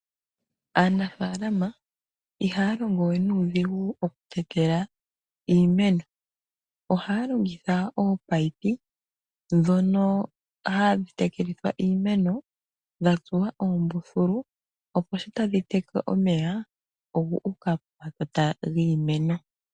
Aanafaalama ihaa longo we nuudhigu okutekela iimeno, ihe ohaa longitha ominino ndhono hadhi tekelithwa iimeno dha tsuwa oombululu opo ngele tadhi tekele omeya guuke pomakota giimeno.